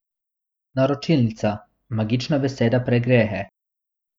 Naročilnica, magična beseda pregrehe!